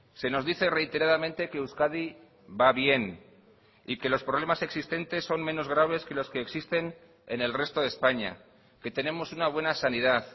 se nos dice reiteradamente que euskadi va bien y que los problemas existentes son menos graves que los que existen en el resto de españa que tenemos una buena sanidad